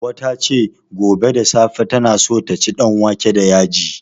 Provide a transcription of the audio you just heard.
Hauwa ta ce, gobe da safe tana so ta ci danwake da yaji.